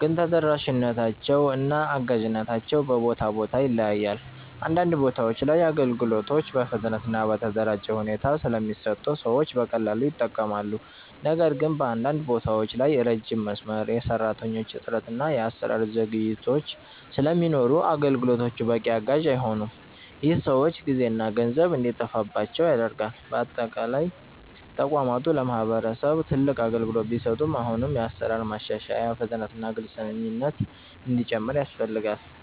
ግን ተደራሽነታቸው እና አጋዥነታቸው በቦታ ቦታ ይለያያል። አንዳንድ ቦታዎች ላይ አገልግሎቶች በፍጥነት እና በተደራጀ ሁኔታ ስለሚሰጡ ሰዎች በቀላሉ ይጠቀማሉ። ነገር ግን በአንዳንድ ቦታዎች ላይ ረጅም መስመር፣ የሰራተኞች እጥረት እና የአሰራር ዘግይቶች ስለሚኖሩ አገልግሎቶቹ በቂ አጋዥ አይሆኑም። ይህ ሰዎች ጊዜና ገንዘብ እንዲጠፋባቸው ያደርጋል። በአጠቃላይ ተቋማቱ ለማህበረሰብ ትልቅ አገልግሎት ቢሰጡም አሁንም የአሰራር ማሻሻያ፣ ፍጥነት እና ግልፅነት እንዲጨምር ያስፈልጋል።